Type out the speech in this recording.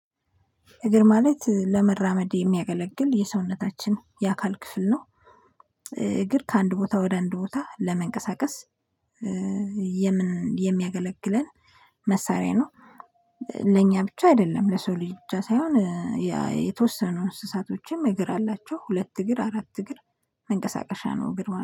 እግር ማለት ለመራመድ የሚያገለግል የሰውነታችን የአካል ክፍል ነው። እግር ከአንድ ቦታ ወደ አንድ ቦታ ለመንቀሳቀስ የምን የሚያገለግለን መሳሪያ ነው። ለኛ ብቻ አይደለም ለሰው ልጅ ሳይሆን ያ የተወሰኑ እንስሳቶችም እግር አላቸው ሁለት እግር አራት እግር መንቀሳቀሻ ነው። እግር ማለት ነው